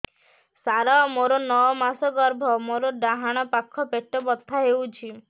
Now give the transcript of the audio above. ସାର ମୋର ନଅ ମାସ ଗର୍ଭ ମୋର ଡାହାଣ ପାଖ ପେଟ ବଥା ହେଉଛି